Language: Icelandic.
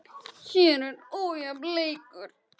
Hér var ójafn leikur.